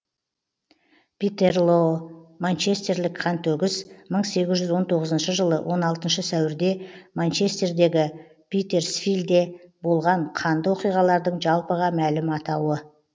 питерлоо манчестерлік қантөгіс мың сегіз жүз он тоғызыншы жылы он алтыншы сәуірде манчестердегі питерсфилде болған қанды оқиғалардың жалпыға мәлім атауы